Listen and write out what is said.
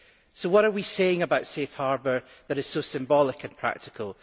So what are we saying about Safe Harbour that is so symbolic and practical?